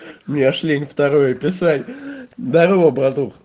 мне аж лень второе писать здорова братух